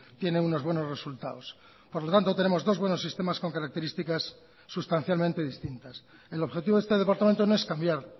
tiene unos buenos resultados por lo tanto tenemos dos buenos sistemas con características sustancialmente distintas el objetivo de este departamento no es cambiar